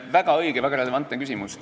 Väga õige ja väga relevantne küsimus.